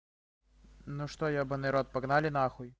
ну что ебаный рот погнали нахуй